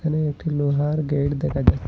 এখানে একটি লোহার গেট দেখা যায়।